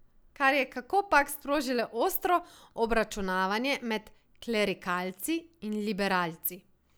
Kar je kakopak sprožilo ostro obračunavanje med klerikalci in liberalci.